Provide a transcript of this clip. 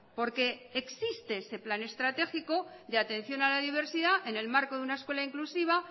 porque existe ese plan estratégico de atención a la diversidad en el marco de una escuela inclusiva